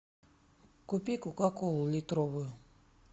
купи кока колу литровую